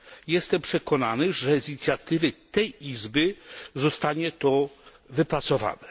Jestem przekonany, że z inicjatywy tej izby zostanie to wypracowane.